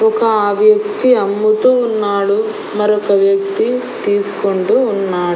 ఒక వ్యక్తి అమ్ముతూ ఉన్నాడు మరొక వ్యక్తి తీసుకుంటూ ఉన్నాడు.